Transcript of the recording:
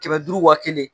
Kɛmɛ duuru wa kelen